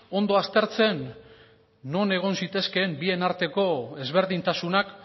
ondo aztertzen non egon zitezkeen bien arteko ezberdintasunak